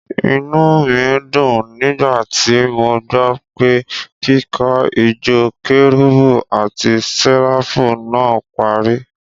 Inú mi dùn nígbà tí mo gbọ́ pé kíkó ìjọ kérúbù àti Séráfù naa parí.